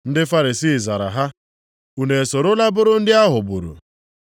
Ndị Farisii zara ha, “Unu esorola bụrụ ndị a ghọgburu?